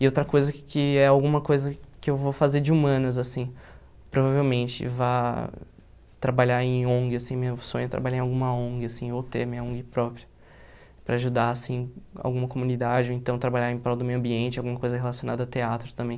E outra coisa que é alguma coisa que eu vou fazer de humanas, assim, provavelmente vá trabalhar em ONG, assim, meu sonho é trabalhar em alguma ONG, assim, ou ter minha ONG própria, para ajudar, assim, alguma comunidade, ou então trabalhar em prol do meio ambiente, alguma coisa relacionada a teatro também.